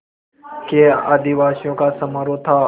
के आदिनिवासियों का समारोह था